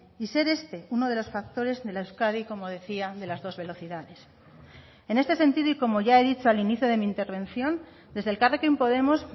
y ser este uno de los factores de la euskadi como decía de las dos velocidades en este sentido y como ya he dicho al inicio de mi intervención desde elkarrekin podemos